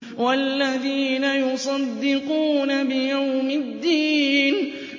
وَالَّذِينَ يُصَدِّقُونَ بِيَوْمِ الدِّينِ